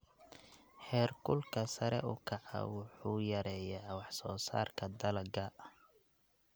Heerkulka sare u kaca wuxuu yareeyaa wax soo saarka dalagga.